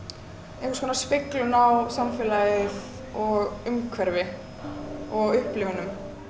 einhvers konar speglun á samfélagið og umhverfi og upplifunum